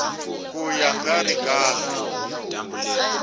ka ya nga ri kahle